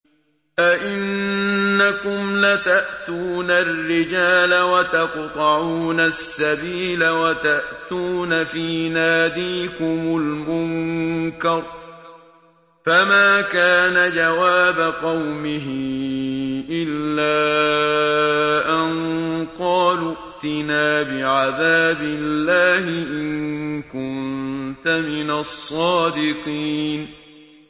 أَئِنَّكُمْ لَتَأْتُونَ الرِّجَالَ وَتَقْطَعُونَ السَّبِيلَ وَتَأْتُونَ فِي نَادِيكُمُ الْمُنكَرَ ۖ فَمَا كَانَ جَوَابَ قَوْمِهِ إِلَّا أَن قَالُوا ائْتِنَا بِعَذَابِ اللَّهِ إِن كُنتَ مِنَ الصَّادِقِينَ